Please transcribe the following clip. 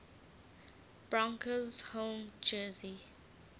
broncos home jersey